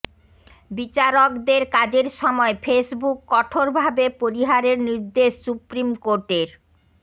বিচারকদের কাজের সময় ফেসবুক কঠোরভাবে পরিহারের নির্দেশ সুপ্রিম কোর্টের